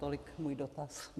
Tolik můj dotaz.